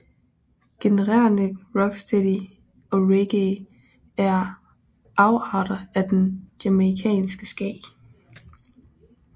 Genrerne rocksteady og reggae er afarter af den jamaicanske ska